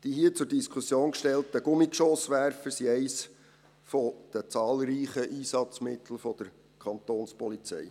Die hier zur Diskussion gestellten Gummigeschosswerfer sind eines der zahlreichen Einsatzmittel der Kapo.